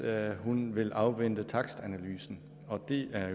at hun vil afvente takstanalysen og det er